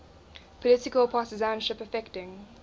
political partisanship affecting